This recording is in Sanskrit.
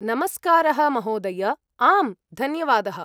नमस्कारः महोदय! आम्, धन्यवादः।